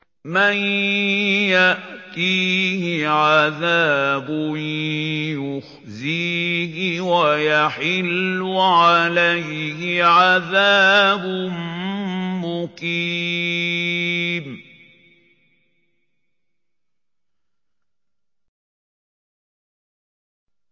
مَن يَأْتِيهِ عَذَابٌ يُخْزِيهِ وَيَحِلُّ عَلَيْهِ عَذَابٌ مُّقِيمٌ